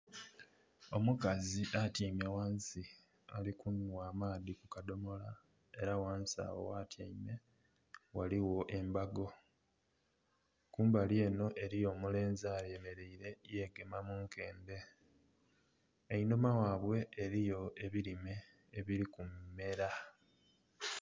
Omukazi atyaime ghansi ali kunhwa amaadhi ku kadomola, era ghansi agho ghatyaime ghaligho embago. Kumbali eno eliyo omulenzi ayemeleire, yegema mu nkendhe. Einhuma ghabwe eliyo ebirime ebiri kumera.